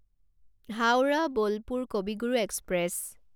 Howrah Bolpur Kavi Guru express